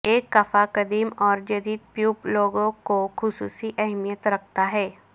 ایک کفا قدیم اور جدید پیوب لوگوں کو خصوصی اہمیت رکھتا ہے